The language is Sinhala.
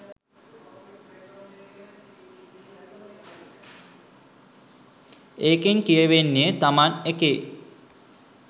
ඒකෙන් කියවෙන්නේ තමන් එකේ